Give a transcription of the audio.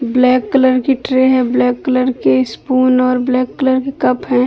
Black colour की tray हैब्लैक colour के स्पून और ब्लैक कलर के कप हैं।